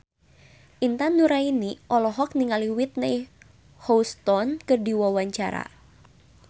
Intan Nuraini olohok ningali Whitney Houston keur diwawancara